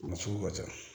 A sugu ka ca